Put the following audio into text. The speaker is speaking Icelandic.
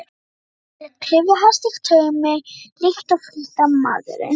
Hann var með klyfjahest í taumi líkt og fylgdarmaðurinn.